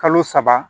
Kalo saba